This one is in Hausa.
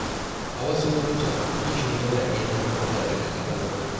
A wasu lokuta, yin shiru yana iya hana matsala daga ƙaruwa.